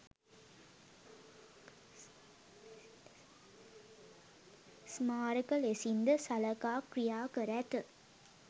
ස්මාරක ලෙසින් ද සළකා ක්‍රියා කර ඇත.